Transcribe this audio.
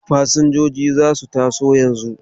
Fasinjojin za su taso yanzu.